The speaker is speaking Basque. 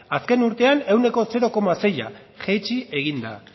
azken urtean ehuneko zero koma seia jaitsi da